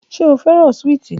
Ṣe o fẹran suwiti?